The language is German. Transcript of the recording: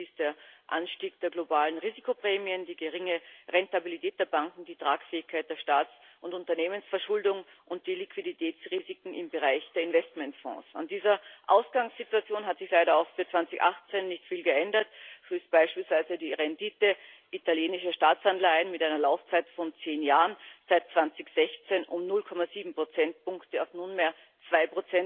Es sind dies der Anstieg der globalen Risikoprämien, die geringe Rentabilität der Banken, die Tragfähigkeit der Staats und Unternehmensverschuldung und die Liquiditätsrisiken im Bereich der Investmentfonds. An dieser Ausgangssituation hat sich leider auch für 2018 nicht viel geändert. So ist beispielsweise die Rendite italienischer Staatsanleihen mit einer Laufzeit von zehn Jahren seit 2016 um 0,7 Prozentpunkte auf nunmehr 2